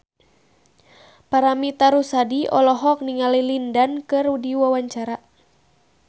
Paramitha Rusady olohok ningali Lin Dan keur diwawancara